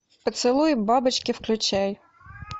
поцелуй бабочки включай